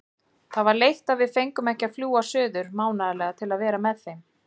Það var veitt og við fengum að fljúga suður mánaðarlega til að vera með þeim.